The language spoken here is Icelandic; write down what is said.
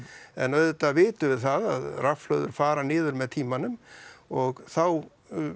en auðvitað vitum við það að rafhlöður fara niður með tímanum og þá